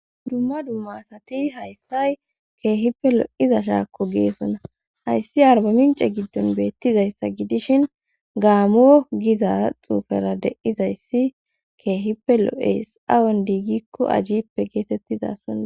Dumma dumma asati hayssay keehippe lo7iza shaakko geesonna hayssi arbamince giddon beettizayssa gidishin gaamoo giza xuufera deizayssi keehippe lo7es awon diigikko ajjippe geetettiza sona